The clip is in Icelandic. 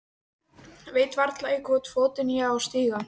Veit varla í hvorn fótinn ég á að stíga.